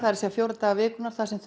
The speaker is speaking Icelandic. fjóra daga vikunnar þar sem